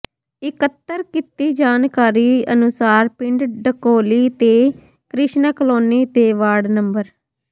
ਇਕੱਤਰ ਕੀਤੀ ਜਾਣਕਾਰੀ ਅਨੁਸਾਰ ਪਿੰਡ ਢਕੋਲੀ ਤੇ ਕ੍ਰਿਸ਼ਨਾ ਕਲੋਨੀ ਦੇ ਵਾਰਡ ਨੰ